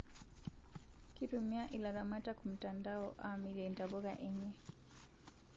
Kitumia ilaramatak mtandao amirie ntapuka enye